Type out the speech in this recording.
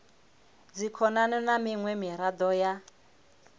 dzikhonani na miṅwe miraḓo ya